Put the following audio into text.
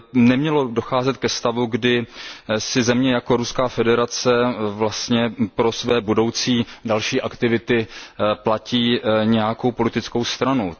nemělo docházet ke stavu, kdy si země jako Ruská federace vlastně pro své budoucí další aktivity platí nějakou politickou stranu.